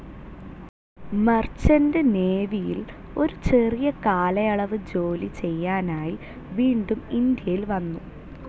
Merchant നേവിയിൽ ഒരു ചെറിയ കാലയളവ് ജോലി ചെയ്യാനായി വീണ്ടും ഇന്ത്യയിൽ വന്നു.